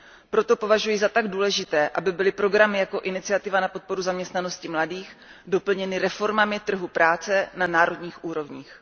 Proto považuji za tak důležité, aby byly programy jako Iniciativa na podporu zaměstnanosti mladých lidí doplněny reformami trhu práce na národních úrovních.